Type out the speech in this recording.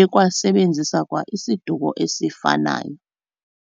ekwasebenzisa kwa isiduko esifanayo.